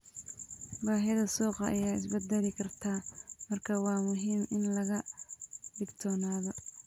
Baahida suuqa ayaa isbedeli karta, marka waa muhiim in laga digtoonaado.